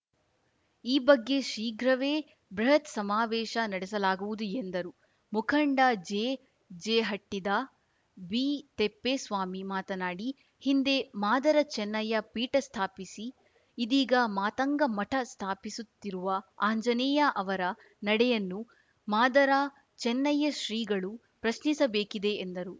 ಈ ಬಗ್ಗೆ ಶೀಘ್ರವೇ ಬೃಹತ್‌ ಸಮಾವೇಶ ನಡೆಸಲಾಗುವುದು ಎಂದರು ಮುಖಂಡ ಜೆಜೆಹಟ್ಟಿದಾಬಿತಿಪ್ಪೇಸ್ವಾಮಿ ಮಾತನಾಡಿ ಹಿಂದೆ ಮಾದರ ಚೆನ್ನಯ್ಯ ಪೀಠ ಸ್ಥಾಪಿಸಿ ಇದೀಗ ಮಾತಂಗ ಮಠ ಸ್ಥಾಪಿಸುತ್ತಿರುವ ಆಂಜನೇಯ ಅವರ ನಡೆಯನ್ನು ಮಾದರ ಚೆನ್ನಯ್ಯ ಶ್ರೀಗಳು ಪ್ರಶ್ನಿಸಬೇಕಿದೆ ಎಂದರು